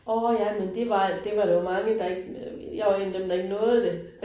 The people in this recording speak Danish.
Åh ja, men det var det var der jo mange, der ikke, jeg var en af dem, der ikke nåede det